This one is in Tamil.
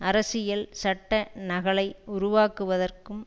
அரசியல் சட்ட நகலை உருவாக்குவதற்கும்